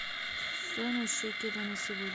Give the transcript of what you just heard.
стоимость шекеля на сегодня